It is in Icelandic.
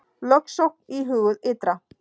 Lögsókn íhuguð ytra